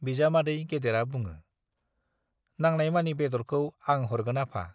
बिजामादै गेदेरा बुङो, नानांयमानि बेद'रखौ आं हरगोन आफा।